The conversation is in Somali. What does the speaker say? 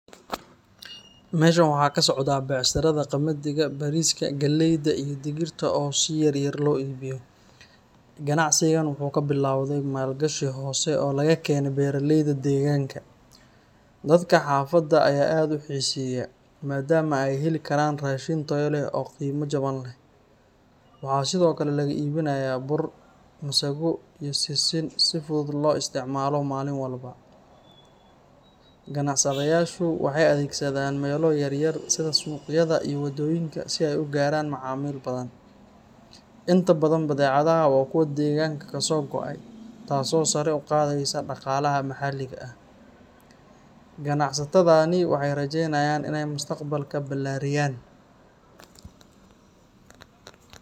Meshaan waxaa ka socdaaah beecsharada qamadiga, bariiska, galleyda iyo digirta oo si yar yar loo iibiyo. Ganacsigan wuxuu ka bilowday maalgashi hoose oo laga keenay beeraleyda deegaanka. Dadka xaafadda ayaa aad u xiiseeya, maadaama ay heli karaan raashin tayo leh oo qiimo jaban leh. Waxaa sidoo kale lagu iibinayaa bur, masago, iyo sisin si fudud loogu isticmaalo maalin walba. Ganacsadayaashu waxay adeegsadaan meelo yar yar sida suuqyada iyo waddooyinka si ay u gaaraan macaamiil badan. Inta badan badeecadaha waa kuwo deegaanka kasoo go’ay, taas oo sare u qaadaysa dhaqaalaha maxalliga ah. Ganacsatadani waxay rajeynayaan inay mustaqbalka ballaariyaan